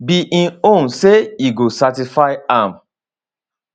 be im own say e go satisfy am